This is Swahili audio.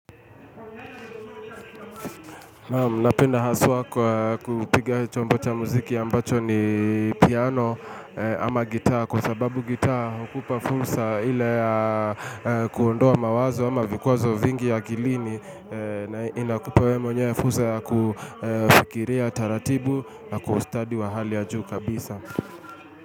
Napenda haswa kwa kupiga chombo cha muziki ambacho ni piano ama gitaa Kwa sababu gitaa ukupa fursa ile ya kuondoa mawazo ama vikuazo vingi akilini na inakupa we mwenyewe fursa ya kufikiria taratibu na kustadi wa hali ya juu kabisa.